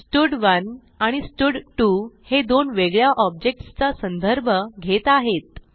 स्टड1 आणि स्टड2 हे दोन वेगळ्या ऑब्जेक्ट्स चा संदर्भ घेत आहेत